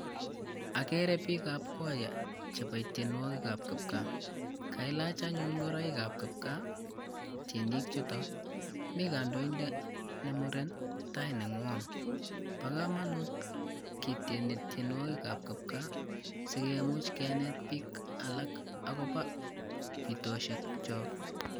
Okere biik ab kwaya chebo tyenwoki ab kipgaa kailach anyun ingoroik ab kipgaa tyenii chutok, mii kondoindet ne muren tai negwony bo komonut ketieni tyenywoki ab kipgaa sikemuch keneti biik alak akopo pitoshek kyok